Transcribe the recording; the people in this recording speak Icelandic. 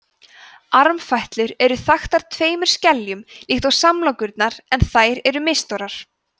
armfætlur eru þaktar tveimur skeljum líkt og samlokurnar en þær eru misstórar